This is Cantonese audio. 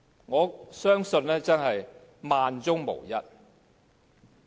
我相信這真的是萬中無一。